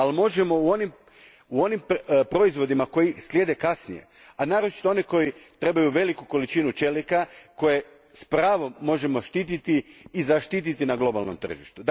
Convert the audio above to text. Ali možemo u onim proizvodima koji slijede kasnije, a naročito oni koji trebaju veliku količinu čelika, koje s pravom možemo štititi i zaštititi na globalnom tržištu.